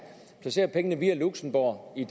placerer pengene via luxembourg i